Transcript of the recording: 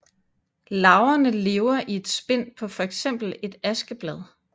Larverne lever i et spind på fx et askeblad